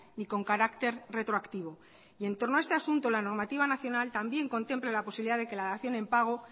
ni con carácter retroactivo y en torno a este asunto la normativa nacional también contempla la posibilidad de que la dación en pago